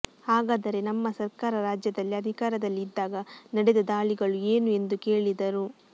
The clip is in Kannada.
ಹಾಗಾದರೆ ನಮ್ಮ ಸರ್ಕಾರ ರಾಜ್ಯದಲ್ಲಿ ಅಧಿಕಾರದಲ್ಲಿ ಇದ್ದಾಗ ನಡೆದ ದಾಳಿಗಳು ಏನು ಎಂದು ಕೇಳಿದರು